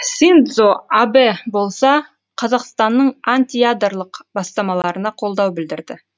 синдзо абэ болса қазақстанның антиядролық бастамаларына қолдау білдірді